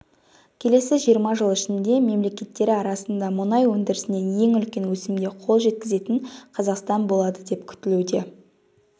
келесі жиырма жыл ішінде мемлекеттері арасында мұнай өндірісінен ең үлкен өсімге қол жеткізетін қазақстан болады деп күтілуде